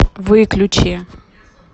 выключи